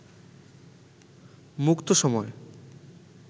মুক্ত সময়